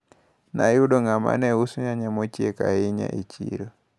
Nayudo ng`ama uso nyanya mochiek ahinya e chiro.